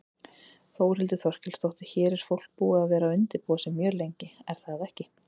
Þórhildur Þorkelsdóttir: Hér er fólk búið að vera undirbúa sig mjög lengi er það ekki?